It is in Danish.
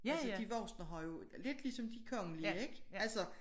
Altså de voksne har jo lidt ligesom de kongelige ik altså